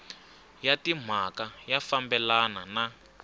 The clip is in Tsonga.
ya timhaka ya fambelana na